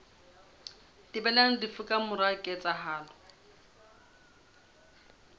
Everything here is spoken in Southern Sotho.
thibelang lefu ka mora ketsahalo